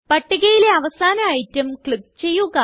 പട്ടികയിലെ അവസാന item click ചെയ്യുക